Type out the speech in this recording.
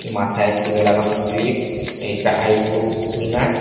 মাথায় চুলে লাগানো ক্লিপ নীচটা আইব্রু ক্লিনার ।